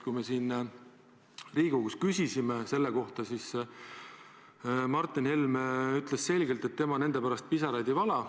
Kui me siin Riigikogus küsisime selle kohta, siis Martin Helme ütles selgelt, et tema nende pärast pisaraid ei vala.